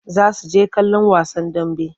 Za su je kallon wasan dambe.